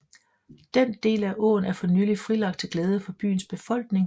Den del af åen er for nylig frilagt til glæde for byens befolkning